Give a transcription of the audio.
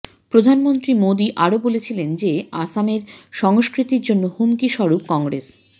প্রধানমন্ত্রী মোদী আরও বলেছিলেন যে আসামের সংস্কৃতির জন্য হুমকি স্বরূপ কংগ্রেস